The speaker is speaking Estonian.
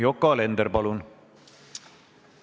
Yoko Alender, palun!